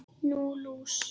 Nú, lús